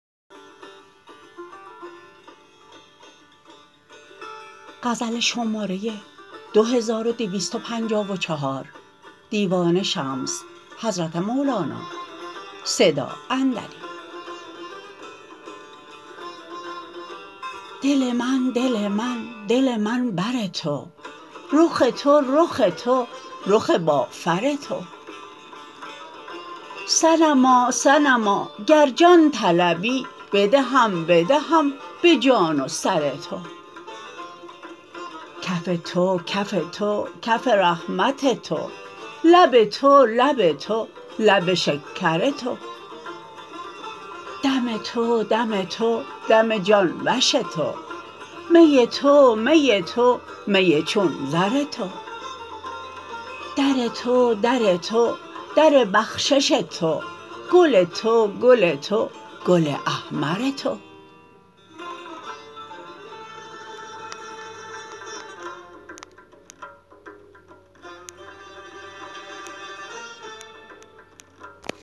دل من دل من دل من بر تو رخ تو رخ تو رخ بافر تو صنما صنما اگر جان طلبی بدهم بدهم به جان و سر تو کف تو کف تو کف رحمت تو لب تو لب تو لب شکر تو دم تو دم تو دم جان وش تو می تو می تو می چون زر تو در تو در تو در بخشش تو گل تو گل تو گل احمر تو